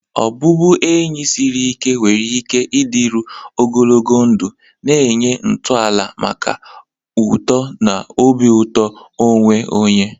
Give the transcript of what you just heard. Ọbụbụenyi siri ike nwere ike ịdịru ogologo ndụ, na-enye ntọala maka uto na obi ụtọ onwe onye.